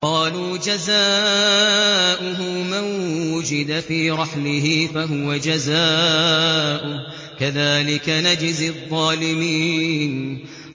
قَالُوا جَزَاؤُهُ مَن وُجِدَ فِي رَحْلِهِ فَهُوَ جَزَاؤُهُ ۚ كَذَٰلِكَ نَجْزِي الظَّالِمِينَ